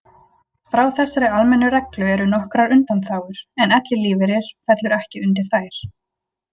Frá þessari almennu reglu eru nokkrar undanþágur en ellilífeyrir fellur ekki undir þær.